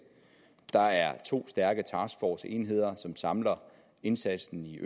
der er to stærke taskforceenheder som samler indsatsen i